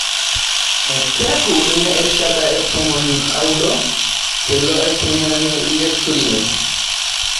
Kiaku ena erishata e tomon oudo teilo aiteng'enani le Turin